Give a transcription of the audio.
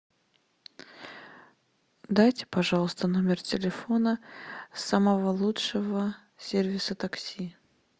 дайте пожалуйста номер телефона самого лучшего сервиса такси